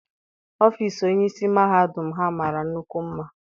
Ọfịịsi onyeisi mahadum Ha mara nnukwu mma.